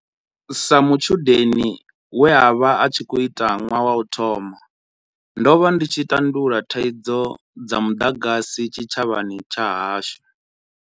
Sa mutshudeni we a vha a khou ita ṅwaha wa u thoma, ndo vha ndi tshi tandulula thaidzo dza muḓagasi tshitshavhani tsha hashu.